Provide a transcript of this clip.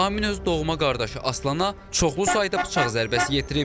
Amin öz doğma qardaşı Aslana çoxlu sayda bıçaq zərbəsi yetirib.